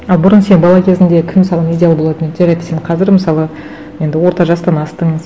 а бұрын сен бала кезіңде кім саған идеал болатын еді жарайды сен қазір мысалы енді орта жастан астың